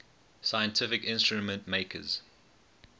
scientific instrument makers